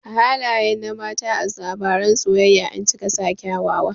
Halaye na mata a labaran soyayya ancika sa kyawawa